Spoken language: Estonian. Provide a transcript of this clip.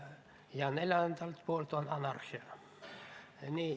Ja neljas on anarhia.